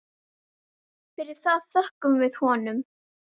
Fyrir það þökkum við honum.